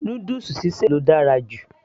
noodles sí sè ló dára jù